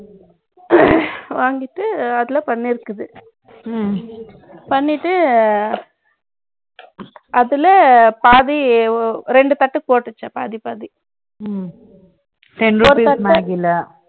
ம்ம். வாங்கிட்டு, அதுல பண்ணி இருக்குது. ம்ம். பண்ணிட்டு, அதுல, பாதி, இரண்டு பெத்து போட்டுச்சாம். பாதி, பாதி. ம்ம் ஆ, two packet ten rupees magy